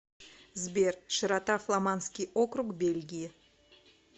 сбер широта фламандский округ бельгии